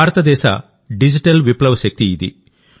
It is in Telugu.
భారతదేశ డిజిటల్ విప్లవ శక్తి ఇది